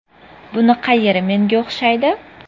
Buni qayeri menga o‘xshaydi.